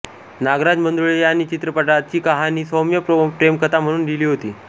नागराज मंजुळे यांनी या चित्रपटाची कहाणी सौम्य प्रेमकथा म्हणून लिहिली होती